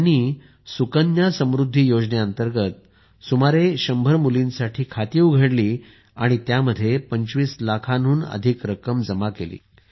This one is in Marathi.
त्यांनी सुकन्या समृद्धी योजने अंतर्गत सुमारे 100 मुलींसाठी खाती उघडली आणि त्यात 25 लाखांहून अधिक रक्कम जमा केली